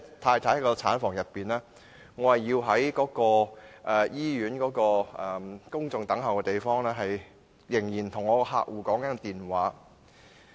太太已在產房內，但我卻在醫院的公眾等候區，與客戶通話。